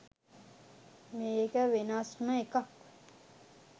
මේක වෙනස්ම එකක්